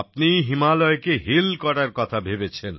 আপনি হিমালয়কে hill hill করার কথা ভেবেছেন